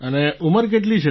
અને ઉંમર કેટલી છે તમારી